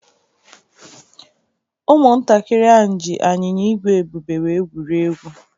Ụmụntakịrị ahụ ji anyịnya ígwè Ebube wee egwurie egwu.